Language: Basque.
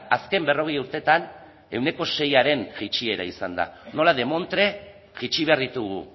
azken berrogei urteetan ehuneko seiaren jaitsiera izan da nola demontre jaitsi behar ditugu